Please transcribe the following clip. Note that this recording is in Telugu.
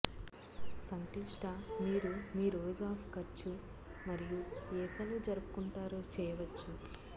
సంక్లిష్ట మీరు మీ రోజు ఆఫ్ ఖర్చు మరియు ఏ సెలవు జరుపుకుంటారు చేయవచ్చు